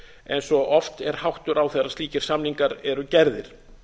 eins og oft er háttur á þegar slíkir samningar eru gerðir